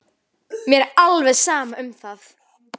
Mér var alveg sama um það.